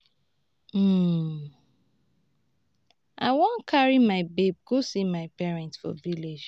i wan carry my babe go see my parents for village